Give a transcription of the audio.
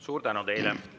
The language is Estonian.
Suur tänu teile!